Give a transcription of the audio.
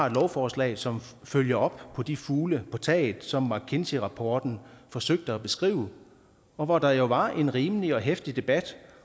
et lovforslag som følger op på de fugle på taget som mckinseyrapporten forsøgte at beskrive og hvor der jo var en rimelig og heftig debat